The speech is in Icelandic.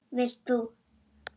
Vilt þú?